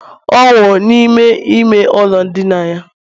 ọ nwụrụ n'ime ime ụlọ ndina ya